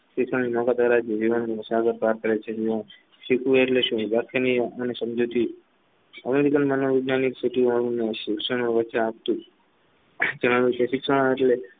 American મનોવિજ્ઞાનની શિક્ષણને વચ્ચે આપતું